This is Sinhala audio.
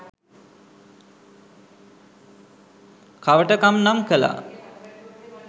කවටකම් නම් කළා.